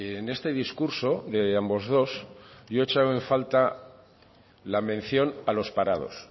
en este discurso de ambos dos yo he echado en falta la mención a los parados